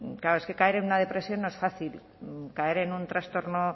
claro es que caer en una depresión no es fácil caer en un trastorno